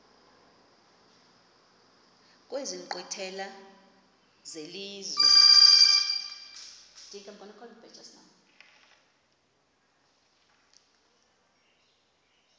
kwezi nkqwithela zelizwe